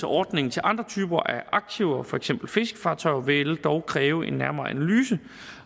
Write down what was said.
ordningen til andre typer af aktiver for eksempel fiskefartøjer vil dog kræve en nærmere analyse